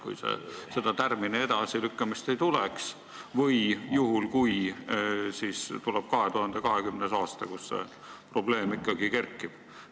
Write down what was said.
Oletame, et seda tärmini edasilükkamist ei tuleks, või mõtleme 2020. aasta peale, kui see probleem ikkagi kerkib.